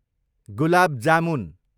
gulab jamun